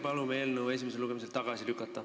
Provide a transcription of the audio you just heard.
Palume eelnõu esimesel lugemisel tagasi lükata.